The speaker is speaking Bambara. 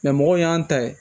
mɔgɔw y'an ta ye